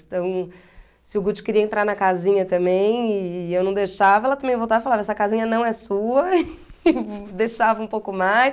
Então, se o Guti queria entrar na casinha também e eu não deixava, ela também voltava e falava, essa casinha não é sua, e deixava um pouco mais.